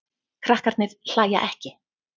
Krakkarnir hlæja ekki.